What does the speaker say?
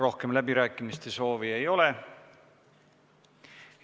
Rohkem läbirääkimiste soovi ei ole.